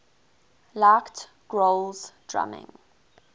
liked grohl's drumming